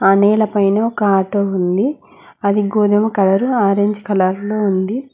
ఆ నెల పైన ఒక ఆటో ఉంది అది గోధుమ కలరు ఆరంజ్ కలర్లో ఉంది.